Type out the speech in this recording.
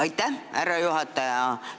Aitäh, härra juhataja!